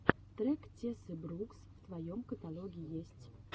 трек тессы брукс в твоем каталоге есть